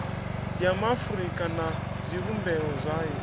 ya maafurika na zwivhumbeo zwayo